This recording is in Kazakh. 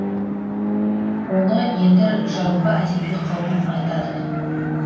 оны енді жалпы әдеби қауым айтады